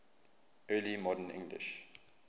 early modern english